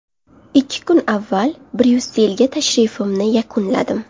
Ikki kun avval Bryusselga tashrifimni yakunladim.